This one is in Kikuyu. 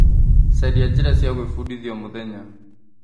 Caria njĩra cia gwĩbundithia o mũthenya.